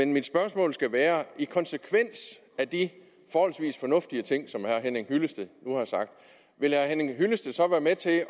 mit spørgsmål skal være i konsekvens af de forholdsvis fornuftige ting som herre henning hyllested nu har sagt vil herre henning hyllested så være med til at